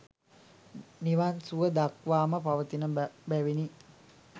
නිවන් සුව දක්වාම පවතින බැවිනි.